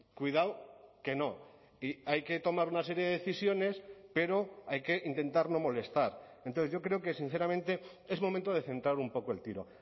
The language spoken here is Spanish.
cuidado que no hay que tomar una serie de decisiones pero hay que intentar no molestar entonces yo creo que sinceramente es momento de centrar un poco el tiro